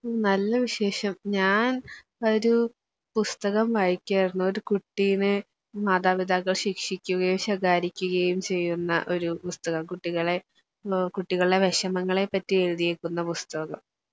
നല്ല വിശേഷം ഞാനൊരു പുസ്തകം വായിക്കുകയായിരുന്നു ഒര് കുട്ടീനെ മാതാപിതാക്കൾ ശിക്ക്ഷികുകയും ശകാരിക്കുകയും ചെയ്യുന്ന ഒര് പുസ്തകം കുട്ടികളെ ളൊ കുട്ടികള്ടെ വിഷമങ്ങളെപ്പറ്റിയെഴുതിയെക്കുന്ന പുസ്തകം.